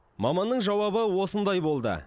маманның жауабы осындай болды